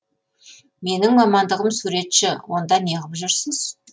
менің мамандығым суретші онда неғып жүрсіз